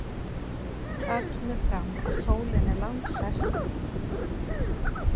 Þar kemur fram að sólin er langstærsta fyrirbæri sólkerfisins.